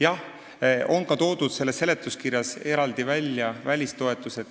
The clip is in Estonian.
Jah, seletuskirjas on eraldi toodud välja välistoetused.